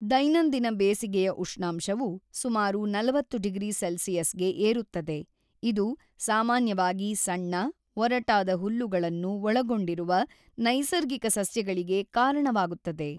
ದೈನಂದಿನ ಬೇಸಿಗೆಯ ಉಷ್ಣಾಂಶವು ಸುಮಾರು ೪೦ ಡಿಗ್ರಿ ಸೆಲ್ಸಿಯಸ್‌ಗೆ ಏರುತ್ತದೆ ಇದು ಸಾಮಾನ್ಯವಾಗಿ ಸಣ್ಣ, ಒರಟಾದ ಹುಲ್ಲುಗಳನ್ನು ಒಳಗೊಂಡಿರುವ ನೈಸರ್ಗಿಕ ಸಸ್ಯಗಳಿಗೆ ಕಾರಣವಾಗುತ್ತದೆ.